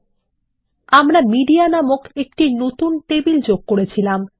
এর জন্য আমরা মিডিয়া নামক অন্য একটি টেবিল যোগ করেছিলাম